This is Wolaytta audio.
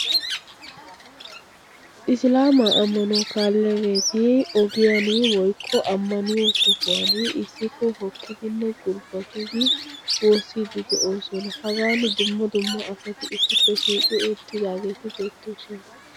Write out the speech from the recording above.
Isilaama ammanuwaa kaaliylageeti ogiyan woykko ammaniyo sohuwan issippe hokkidinne gulbbatidi woossiiddi de'oosona. Hagan dumma dumma asati issippe shiiqi uuttidaageeti beettoosona.